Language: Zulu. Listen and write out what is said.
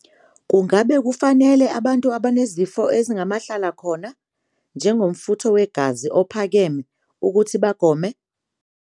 Umbuzo- Ngakube kufanele abantu abanezifo ezingamahlalakhona, njengomfutho wegazi ophakeme, ukuthi bagome?